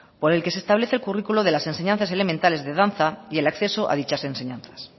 por el que se establece el currículo de las enseñanzas elementales de danza y el acceso a dichas enseñanzas